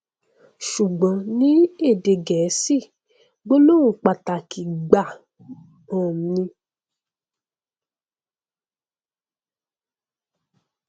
ṣùgbọn ní èdè gẹẹsì gbólóhùn pàtàkì gbáà um ni